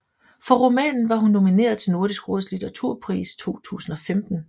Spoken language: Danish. For romanen var hun nomineret til Nordisk Råds Litteraturpris 2015